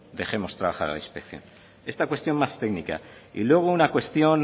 dejemos trabajar a la inspección esta cuestión más técnica y luego una cuestión